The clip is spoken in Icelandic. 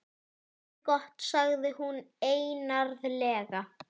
Það er gott sagði hún einarðlega.